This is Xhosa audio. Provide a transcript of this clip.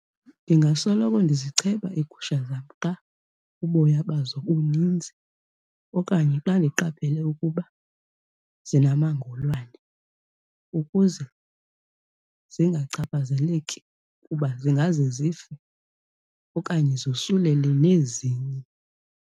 Ndingasoloko ndizicheba iigusha zam xa uboya bazo uninzi okanye xa ndiqaphele ukuba zinamangolwane ukuze zingachaphazeleki kuba zingaze zife okanye zosulele nezinye.